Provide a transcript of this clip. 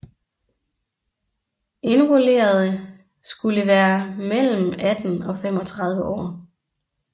Indrullerede skulle være mellem 18 og 35 år